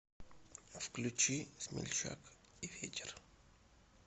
включи смельчак и ветер